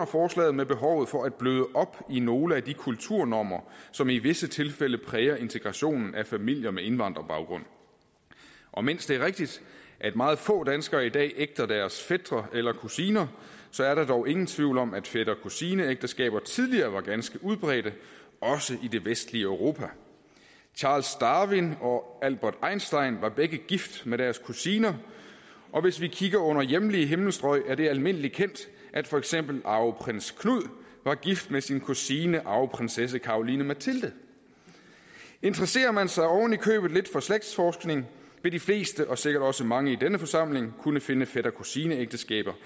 forslaget med behovet for at bløde op i nogle af de kulturnormer som i visse tilfælde præger integrationen af familier med indvandrerbaggrund og mens det er rigtigt at meget få danskere i dag ægter deres fætre eller kusiner er der dog ingen tvivl om at fætter kusine ægteskaber tidligere var ganske udbredt også i det vestlige europa charles darwin og albert einstein var begge gift med deres kusine og hvis vi kigger under hjemlige himmelstrøg er det almindeligt kendt at for eksempel arveprins knud var gift med sin kusine arveprinsesse caroline mathilde interesserer man sig oven i købet lidt for slægtsforskning vil de fleste og sikkert også mange i denne forsamling kunne finde fætter kusine ægteskaber